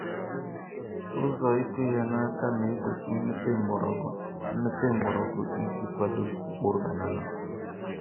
ụzọ ịkụ ihe n'aka na-egbochi mmepe mgbọrọgwụ mmepe mgbọrọgwụ iji kwado mkpụrụ banana.